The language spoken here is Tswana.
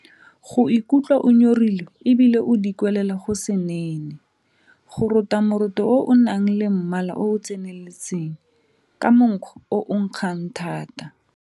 Go ikutlwa o nyorilwe e bile o dikwelela go se nene. Go rota moroto o o nang le mmala o o tseneletseng, ka monkgo o o nkgang thata.